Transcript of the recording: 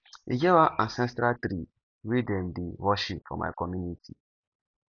e get one ancestral tree wey dem dey worship for my community